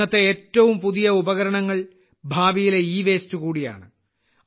ഇന്നത്തെ ഏറ്റവും പുതിയ ഉപകരണങ്ങൾ ഭാവിയിലെ ഇവേസ്റ്റ് കൂടിയാണ്